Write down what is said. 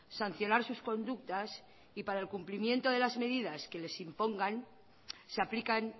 sancionar sus conductas y para el cumplimiento de las medidas que les impongan se aplican